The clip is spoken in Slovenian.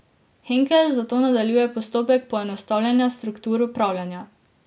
Henkel zato nadaljuje postopek poenostavljanja struktur upravljanja.